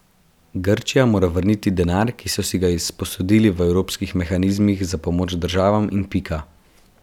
Grčija mora vrniti denar, ki so si ga izposodili v evropskih mehanizmih za pomoč državam, in pika.